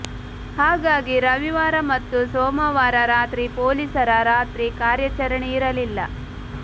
ಹಾಗಾಗಿ ರವಿವಾರ ಮತ್ತು ಸೋಮವಾರ ರಾತ್ರಿ ಪೊಲೀಸರ ರಾತ್ರಿ ಕಾರ್ಯಾಚರಣೆ ಇರಲಿಲ್ಲ